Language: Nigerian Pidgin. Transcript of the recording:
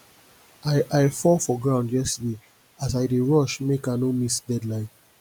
i i fall for ground yesterday as i dey rush make i no miss deadline